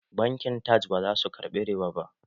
Bankin Taj ba za su ƙarbi riba